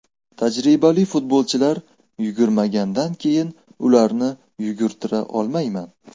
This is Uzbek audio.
Tajribali futbolchilar yugurmagandan keyin ularni yugurtira olmayman.